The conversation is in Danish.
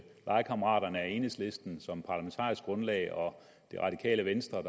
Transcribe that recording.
legekammeraterne er enhedslisten som parlamentarisk grundlag og det radikale venstre